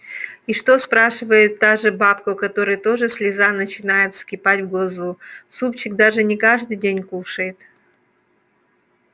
и что спрашивает та же бабка у которой тоже слеза начинает вскипать в глазу супчик даже не каждый день кушает